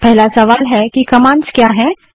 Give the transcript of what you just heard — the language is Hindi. अब पहला सवाल है कि कमांड्स क्या हैं160